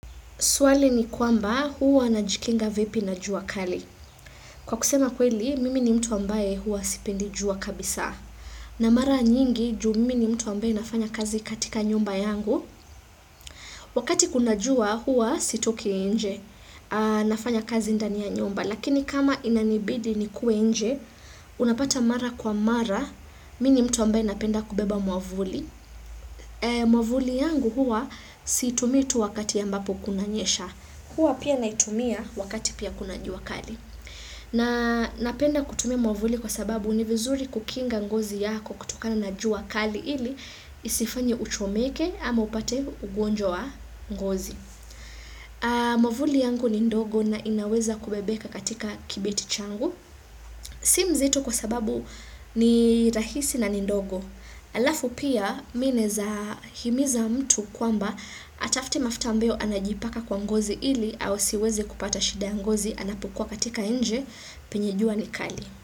Swali ni kwamba huwa najikinga vipi na jua kali. Kwa kusema kweli, mimi ni mtu ambaye huwa sipendi jua kabisa. Na mara nyingi, juu mimi ni mtu ambaye nafanya kazi katika nyumba yangu. Wakati kuna jua, huwa sitoki inje. Nafanya kazi ndani ya nyumba. Lakini kama inanibidi nikuwe inje, unapata mara kwa mara. Mimi ni mtu ambaye napenda kubeba mwavuli. Mwavuli yangu huwa situmitu wakati ambapo kuna nyesha. Huwa pia naitumia wakati pia kuna jua kali. Na napenda kutumia mwavuli kwa sababu ni vizuri kukinga ngozi yako kutoka na jua kali ili isifanya uchomeke ama upate ugonjwa wa ngozi. Mwavuli yangu ni ndogo na inaweza kubebeka katika kibeti changu. Si mzito kwa sababu ni rahisi na nindogo. Alafu pia mi naeza himiza mtu kwamba atafute mafuta ambayo anajipaka kwa ngozi ili asiweze kupata shida ya ngozi anapokua katika inje penye jua nikali.